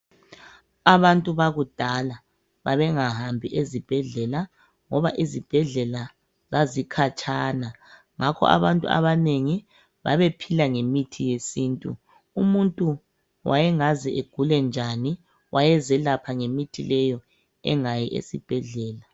Abantu bakudala babengahambi ezibhedlela ngoba izibhedlela zazikhatshana, ngakho abantu abanengi babephila ngemithi yesintu. Umuntu wayengaze agule njani waye zelapha ngemithi leyo engayi esibhedlela.